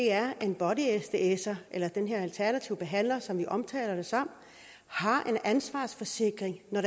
er at en body sdser eller den her alternative behandler som vi omtaler det som har en ansvarsforsikring når